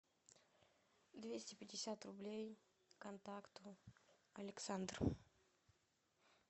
двести пятьдесят рублей контакту александр